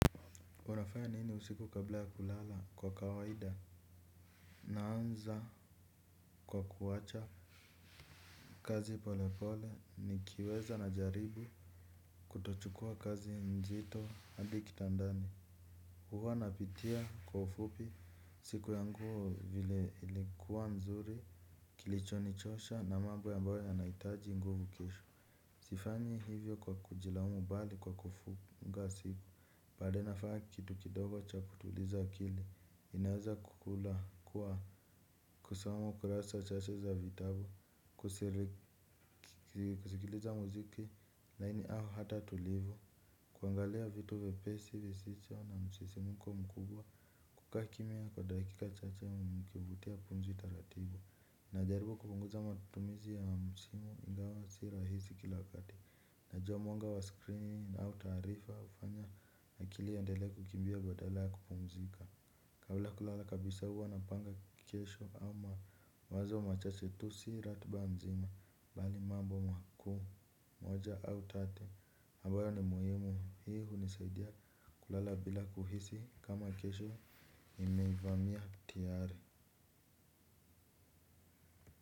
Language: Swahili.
Unafanya nini usiku kabla ya kulala kwa kawaida? Naanza kwa kuwacha kazi pole pole nikiweza najaribu kutochukuwa kazi mzito adi kitandani. Huwa napitia kwa ufupi siku yangu vile ilikuwa mzuri kilichonichosha na mambo ambayo yanahitaji nguvu kesho. Sifanyi hivyo kwa kujilaumu bali kwa kufunga siku. Baadae nafanya kitu kidogo cha kutuliza akili. Inaeza kukula kuwa kusoma ukurasa chache za vitabu kusikiliza muziki laini au hata tulivu kuangalia vitu vyepesi visicho na msisimko mkubwa kukaa kimya kwa dakika chache nikivutia pumzi taratibu. Najaribu kupunguza matumizi ya msimu ingawa si rahisi kila wakati. Najuwa mwanga wa screen au taarifa ufanya akili iendele kukimbia badala ya kupumzika. Kabla ya kulala kabisa huwa napanga kesho ama wazo machache tu si ratiba nzima bali mambo makuu moja au tatu abayo ni muhimu hii hunisaidia kulala bila kuhisi kama kesho imeivamia tiare.